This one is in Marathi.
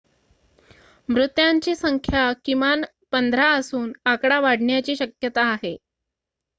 मृत्यांची संख्या किमान १५ असून आकडा वाढण्याची शक्यता आहे